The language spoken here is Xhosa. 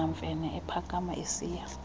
mamfene ephakama esiya